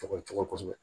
Cɔgɔ cɔcɔ kosɛbɛ